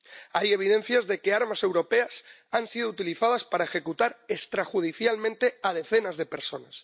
Hay evidencias de que armas europeas han sido utilizadas para ejecutar extrajudicialmente a decenas de personas.